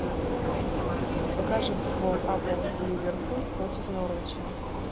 покажи футбол апл ливерпуль против норвича